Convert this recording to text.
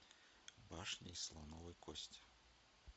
башня из слоновой кости